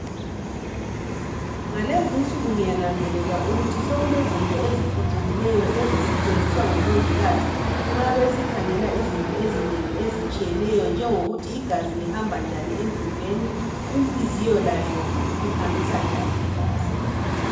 Ngalezi insuku ngiyananzelela ukuthi sokulezinto eziphucukileyo ezisetshenziswa ngomongikazi nxa besikhangela izinto ezinengi ezitshiyeneyo njengokuthi igazi lihamba njani emzimbeni inhliziyo layo ihambisa njani igazi.